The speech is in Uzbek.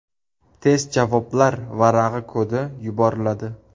Test javoblar varag‘i kodi yuboriladi.